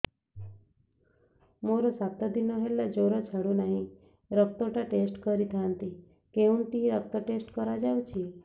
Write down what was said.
ମୋରୋ ସାତ ଦିନ ହେଲା ଜ୍ଵର ଛାଡୁନାହିଁ ରକ୍ତ ଟା ଟେଷ୍ଟ କରିଥାନ୍ତି କେଉଁଠି ରକ୍ତ ଟେଷ୍ଟ କରା ଯାଉଛି